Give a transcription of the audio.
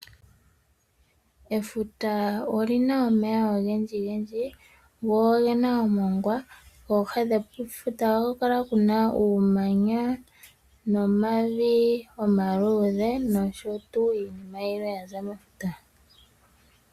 Efutaa olina omeya ogendjigendji, go ogena omongwa, pooha dhefuta ohapu kala puna uumanya, nomavi omaluudhe, nosho tuu iinima yilwe yaza mefuta.